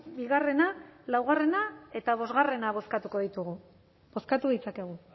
bigarrena laugarrena eta bosgarrena bozkatuko ditugu bozkatu ditzakegu